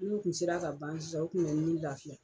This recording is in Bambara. N'olu kun sera ka ban sisan u kun bɛ n ni lafiya.